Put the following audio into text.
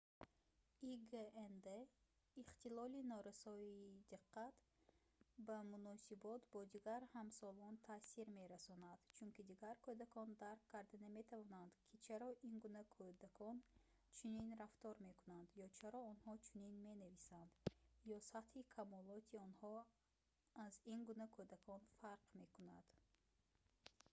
игнд ихтилоли норасоии диққат ба муносибот бо дигар ҳамсолон таъсир мерасонад чунки дигар кӯдакон дарк карда наметавонанд ки чаро ин гуна кӯдакон чунин рафтор мекунанд ё чаро онҳо чунин менависанд ё сатҳи камолоти онҳо аз ин гуна кӯдакон фарқ мекунад